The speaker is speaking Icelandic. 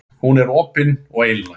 Hún var opin og einlæg.